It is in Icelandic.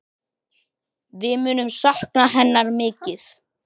Við munum sakna hennar mikið.